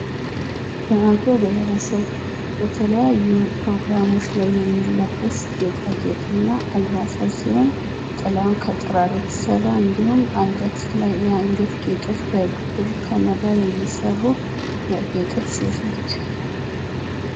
በአገው ብሔረሰብ በተለያዩ ፕሮግራሞች ላይ የሚለበስ ጌጣጌጥ እና አልባሳት ሲሆን ጥላው ከጥራር የተሰራ እንድሁም አንገት ላይ የአንገት ጌጦች ከብር ከመዳብ የሚሰሩ ያጌጠች ሴት ነች።